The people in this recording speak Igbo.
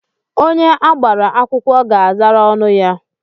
Onye agbara akwụkwọ ga-azara ọnụ ya.